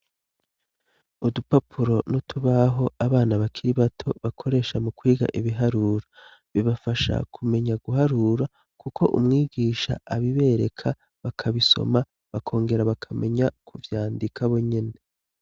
Udupapuro n'utubaho abana bakiri bato bakoresha mu kwiga ibiharuro, bibafasha kumenya guharura kuko umwigisha abibereka bakabisoma bakongera bakamenya ku vyandika bo nyene.